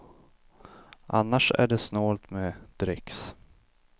Annars är det snålt med dricks.